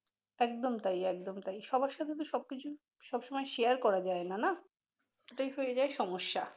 একদম তাই একদম তাই সবার সাথে তো সব কিছু সবসময় শেয়ার করা যায় না নাহ এইটাই হয়ে যায় সমস্যা।